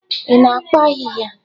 Ị na-akpa ahịhịa?